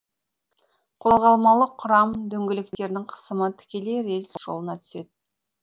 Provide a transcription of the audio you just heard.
қозғалмалы құрам дөңгелектерінің қысымы тікелей рельс жолына түседі